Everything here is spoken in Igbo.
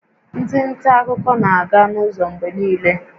Ndị nta akụkọ na-aga n'ụzọ mgbe niile